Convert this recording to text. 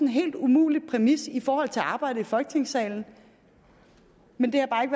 helt umulig præmis i forhold til arbejdet i folketingssalen men det